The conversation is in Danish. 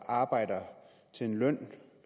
arbejder til en løn